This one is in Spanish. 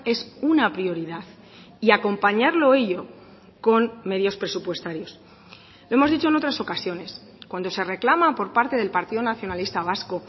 es una prioridad y acompañarlo ello con medios presupuestarios lo hemos dicho en otras ocasiones cuando se reclama por parte del partido nacionalista vasco